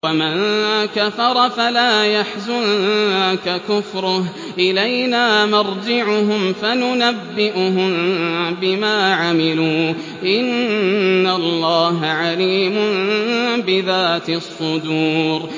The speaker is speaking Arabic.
وَمَن كَفَرَ فَلَا يَحْزُنكَ كُفْرُهُ ۚ إِلَيْنَا مَرْجِعُهُمْ فَنُنَبِّئُهُم بِمَا عَمِلُوا ۚ إِنَّ اللَّهَ عَلِيمٌ بِذَاتِ الصُّدُورِ